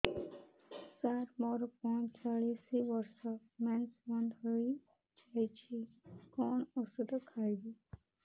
ସାର ମୋର ପଞ୍ଚଚାଳିଶି ବର୍ଷ ମେନ୍ସେସ ବନ୍ଦ ହେଇଯାଇଛି କଣ ଓଷଦ ଖାଇବି